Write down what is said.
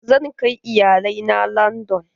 Zan kai iyalai na landan.